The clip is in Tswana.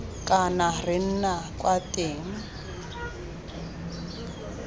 kana re nna kwa teng